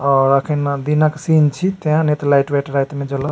और एखन दिनक सीन छी ता ने ते लाइट वाइट रात में जड़त।